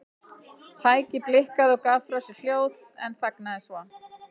Tækið blikkaði og gaf frá sér hljóð en þagnaði svo.